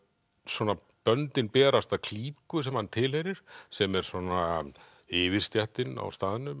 svona böndin berast að klíku sem hann tilheyrir sem er svona yfirstéttin á staðnum